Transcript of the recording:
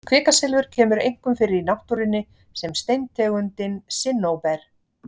kvikasilfur kemur einkum fyrir í náttúrunni sem steintegundin sinnóber